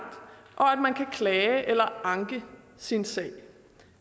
og at man kan klage eller anke sin sag